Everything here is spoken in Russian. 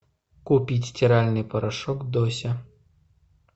купить стиральный порошок дося